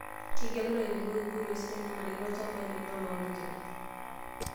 Kegelu ilairemok enkoitoi sidai nanarikino ilchambai lenye woloonyikita